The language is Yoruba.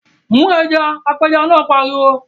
Mu ẹja! Apẹja náà pariwo.